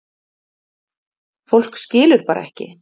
Fólk skilur bara ekki